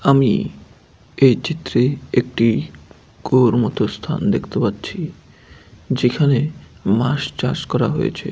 আমি এই চিত্রে একটি কুয়োর মত স্থান দেখতে পাচ্ছি যেখানে মাছ চাষ করা হয়েছে।